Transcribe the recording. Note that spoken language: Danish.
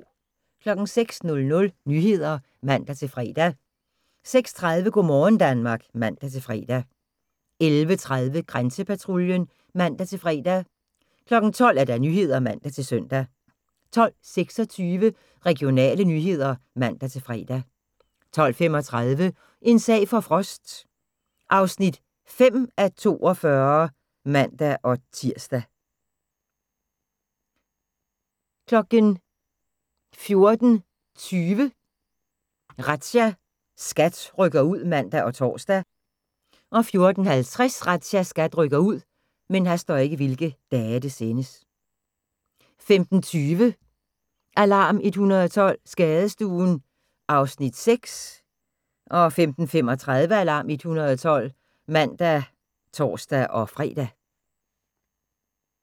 06:00: Nyhederne (man-fre) 06:30: Go' morgen Danmark (man-fre) 11:30: Grænsepatruljen (man-fre) 12:00: Nyhederne (man-søn) 12:26: Regionale nyheder (man-fre) 12:35: En sag for Frost (5:42)(man-tir) 14:20: Razzia – SKAT rykker ud (man og tor) 14:50: Razzia – SKAT rykker ud 15:20: Alarm 112 – Skadestuen (Afs. 6) 15:35: Alarm 112 (man og tor-fre)